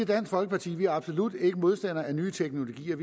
dansk folkeparti absolut ikke er modstandere af nye teknologier